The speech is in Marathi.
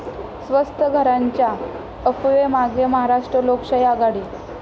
स्वस्त घरांच्या अफवेमागे महाराष्ट्र लोकशाही आघाडी